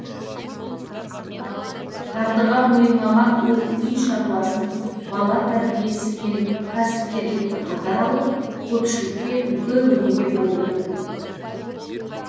тағдырға мойымаған ол үй шаруасын бала тәрбиесі мен кәсіпкерлікті қатар алып көпшілікке үлгі өнеге болып отыр